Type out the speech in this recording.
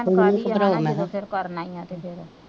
tension ਕਾਦੀ ਆ ਜਦੋਂ ਫਿਰ ਕਰਨਾ ਹੀ ਆ ਤੇ ਫਿਰ,